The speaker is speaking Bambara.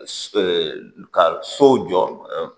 ka sow jɔ